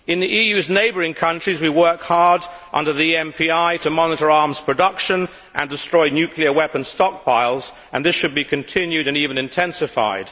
In the EU's neighbouring countries, we work hard under the MPI to monitor arms production and destroy nuclear weapon stockpiles, and this should be continued and even intensified.